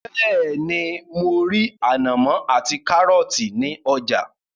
Bẹ́ẹ́ni, mo rí ànàmọ́ ati kárọ́tì ní ọjà.